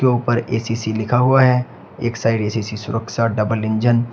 ऊपर ए_सी_सी लिखा हुआ है एक साइड ए_सी_सी सुरक्षा डबल इंजन।